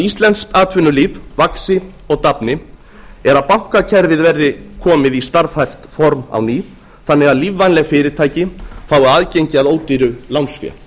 íslenskt atvinnulíf vaxi og dafni er að bankakerfið verði komið í starfhæft form á ný þannig að lífvænleg fyrirtæki fái aðgengi að ódýru lánsfé